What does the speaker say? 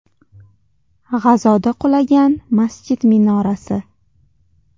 G‘azoda qulagan masjid minorasi.